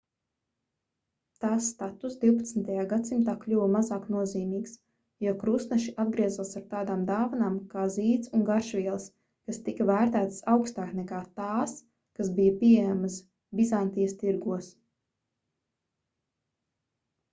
tās statuss 12. gadsimtā kļuva mazāk nozīmīgs jo krustneši atgriezās ar tādām dāvanām kā zīds un garšvielas kas tika vērtētas augstāk nekā tās kas bija pieejamas bizantijas tirgos